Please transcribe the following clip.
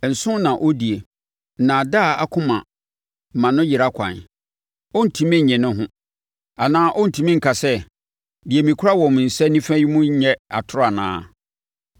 Nsõ na ɔdie, nnaadaa akoma ma no yera kwan; ɔrentumi nye ne ho, anaa ɔrentumi nka sɛ, “Deɛ mekura wɔ me nsa nifa yi nnyɛ atorɔ anaa?”